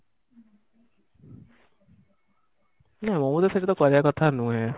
ନା ମୋ ମତରେ ସେ କଥା କହିବା କଥା ନୁହେଁ